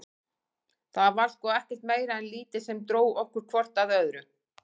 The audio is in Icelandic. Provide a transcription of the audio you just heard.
Það var sko ekkert meira en lítið sem dró okkur hvort að öðru.